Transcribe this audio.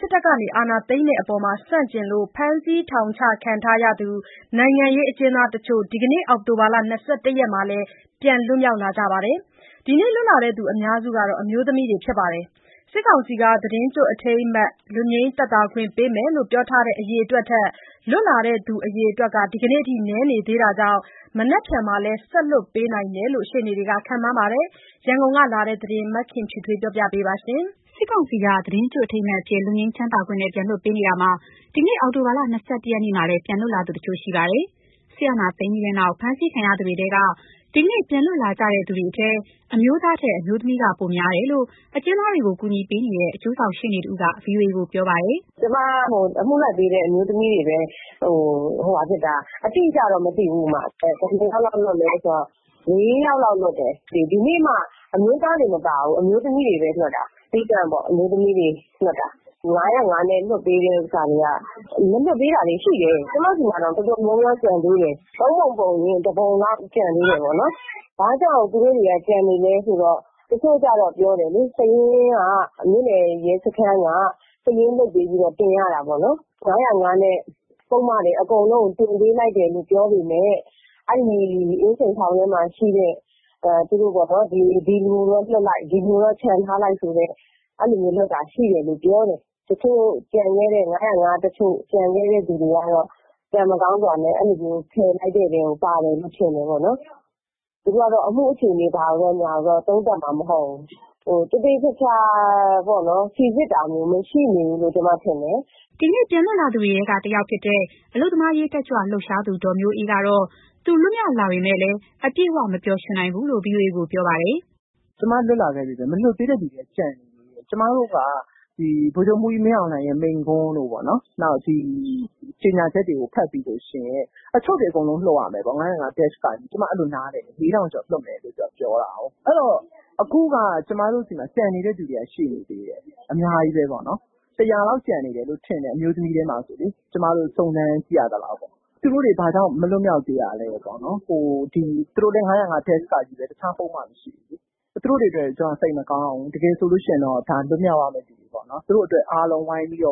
စစ်တပ်အာဏာသိမ်းတဲ့အပေါ် ဆန့်ကျင်လို့ ဖမ်းဆီးထောင်ချခံထားရသူ နိုင်ငံရေးအကျဉ်းသားတချို့ ဒီနေ့ အောက်တိုဘာ ၂၁ ရက်မှာလည်း ပြန်လွတ်လာကြပါတယ်။ ဒီနေ့လွတ်လာသူအများစုက အမျိုးသမီးတွေဖြစ်ပါတယ်။ စစ်ကောင်စီက သီတင်းကျွတ်အထိမ်းအမှတ် လွတ်ငြိမ်းသက်သာခွင့်ပေးမယ် လို့ ပြောထားတဲ့ အရေအတွက်ထက် လွတ်လာသူအရေအတွက်ထက် ဒီနေ့ထိ နည်းနေသေးတာကြောင့် မနက်ဖြန်လည်း ဆက်လွှတ်ပေးနိုင်တယ်လို့ ရှေ့နေတွေက ခန့်မှန်းနေပါတယ်။ ရန်ကုန်ကလာတဲ့ ဒီသတင်းကို မခင်ဖြူထွေးက တင်ပြပေးထားပါတယ်။ စစ်ကောင်စီက သီတင်းကျွတ်အထိမ်းအမှတ်အဖြစ် လွတ်ငြိမ်းသက်သာခွင့်နဲ့ ပြန်လွှတ်ပေးနေတာမှာ ဒီနေ့ အောက်တိုဘာလ ၂၁ ရက်နေ့မှာလည်း ပြန်လွတ်လာသူတွေရှိပါတယ်။ စစ်အာဏာသိမ်းပြီးတဲ့နောက် ဖမ်းဆီးခံရသူတွေထဲက ဒီနေ့ပြန်လွတ်လာကြသူတွေထဲ အမျိုးသားထက် အမျိုးသမီးကများတယ်လို့ အကျဉ်းသားတွေကို ကူညီပေးနေတဲ့ အကျိုးဆောင်ရှေ့နေတဦးက ဗွီအိုအေကိုပြောပါတယ်။ “ကျမအမှုလိုက်ပေးတဲ့ အမျိုးသမီးတွေကိုပဲ သိတာ။ ဘယ်နှစ်ယောက်လောက် လွတ်တယ်ဆိုတာ အတိအကျတော့ မသိဘူး။ လေးယောက်လောက်လွတ်တယ်။ ဒီနေ့မှ အမျိုးသမီးတွေပဲ သီးသန့် လွှတ်တာ။ အမျိုးသားတွေမပါဘူး။ ၅၀၅ နဲ့လွှတ်ပေးတဲ့ဥစ္စာတွေက မလွှတ်ပေးတာတွေ ရှိတယ်။ ကျမဆီမှာတောင် တော်တော်များများ ကျန်သေးတယ်။ သုံးပုံ ပုံရင် တပုံလောက် ကျန်သေးတယ်ပေါ့နော်။ ဘာကြောင့် သူတို့ကျန်နေလဲဆိုတော့ တချို့ကတော့ ပြောတယ်။ စာရင်းက-မြို့နယ်ရဲစခန်းက...လွှတ်ပေးပြီးတော့ တင်ရတာပေါ့နော်။ ၅၀၅ နဲ့ ပုဒ်မတွေအကုန်လုံးကို တင်ပေးလိုက်တယ်ပြောပေမယ့် အဲဒီနေ့ အင်းစိန်ထောင်ထဲမှာရှိတဲ့ ဒီလူကိုတော့ လွှတ်လိုက်၊ ဒီလူကိုတော့ ချန်ထားလိုက်...ဆိုတဲ့ အဲဒီလိုမျိုးလွှတ်တာ ရှိတယ်လို့ ပြောတယ်။ ၅၀၅ နဲ့ တချို့ ကျန်ခဲ့တဲ့သူတွေကတော့ ကံမကောင်းစွာနဲ့ အဲဒီလိုမျိုး ဖယ်လိုက်တဲ့ထဲကို ပါတယ်လို့ ထင်တယ်ပေါ့နော်။ သူတို့ကတော့ အမှုအခြေအနေ ဘာကိုတော့ ညာကိုတော့ သုံးသပ်မှာ မဟုတ်ဘူး။ သေသေချာချာ စိစစ်တာမျိုး ရှိမနေဘူးလို့ ကျမထင်တယ်။” ဒီနေ့ ပြန်လွတ်လာသူတွေထဲက တယောက်ဖြစ်တဲ့ အလုပ်သမားအရေး တက်ကြွလှုပ်ရှားသူ ဒေါ်မျိုးအေးကတော့ သူလွတ်မြောက်လာပေမယ့် အပြည့်အဝ မပျော်ရွှင်နိုင်ဘူးလို့ ဗွီအိုအေကို ပြောပါတယ်။ “ကျမလွတ်လာပေမယ့် မလွတ်သေးတဲ့သူတွေလည်း ကျန်သေးတယ်။ ကျမတို့ရွာက ဗိုလ်ချုပ်မှူးကြီး မင်းအောင်လှိုင်ရဲ့မိန့်ခွန်းတို့...ပေါ့နော်၊ နောက် ကြေညာချက်တွေကို ဖတ်ပြီးလို့ရှိရင် အချုပ်တွေ အကုန်လုံး လွှတ်ရမယ်ပေါ့။ ၅၀၅ (က) ကနေ၊ ကျမ အဲဒီလို နားလည်တယ်။ ၄ ထောင်ကျော်လွတ်မယ် ပြောတာကို။ အခုက ကျန်နေတဲ့သူတွေ ရှိနေသေးတယ်။ အများကြီးပဲပေါ့နော်။ တရာလောက် ကျန်နေသေးတယ်လို့ထင်တယ်- အမျိုးသမီးထဲမှာဆိုရင်။ ကျမတို့ စုံစမ်းသိရသလောက်ပေါ့။ သူတို့တွေ ဘာကြောင့် မလွတ်မြောက်သေးတာလဲ ပေါ့နော်။ သူတို့လည်း ၅၀၅ (က) နဲ့ပဲ တခြား ပုဒ်မ မရှိဘူး။ သူတို့တွေအတွက် ကျမ စိတ်မကောင်းဘူး။ တကယ်ဆိုလို့ရှိရင်တော့ ဒါ လွတ်မြောက်ရမှာပေါ့။ သူတို့အတွက် ဝိုင်းပြီး